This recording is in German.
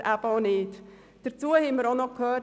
Wir haben arbeitsrechtliche Argumente gehört.